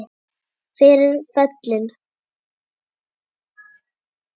Fyrir föllin